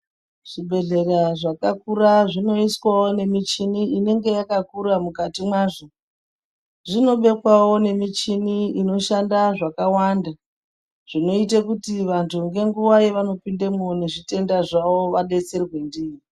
Zvibhedhlera zvakakura zvinoiswawo nemichini inenge yakakura mukati mwazvo, zvinobekwawo nemichini inoshanda zvakawanda zvinoite kuti vantu ngenguwa yavanopinemo nezvitenda zvavo vabetsere ndiyo.